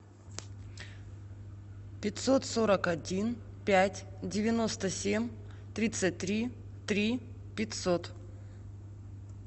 пятьсот сорок один пять девяносто семь тридцать три три пятьсот